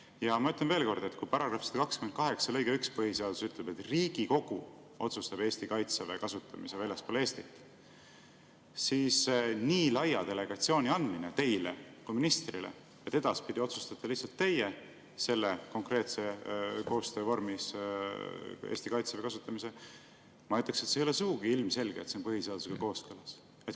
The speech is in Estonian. Ja ma ütlen veel kord, et kui § 128 lõige 1 põhiseaduses ütleb, et Riigikogu otsustab Eesti kaitseväe kasutamise väljaspool Eestit, siis nii laia delegatsiooni andmise puhul teile kui ministrile, et edaspidi otsustate lihtsalt teie selle konkreetse koostöö vormis Eesti kaitseväe kasutamise, ma ütleksin, ei ole sugugi ilmselge, et see on põhiseadusega kooskõlas.